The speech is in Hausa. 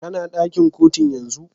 Kana dakin Kotun yanzun?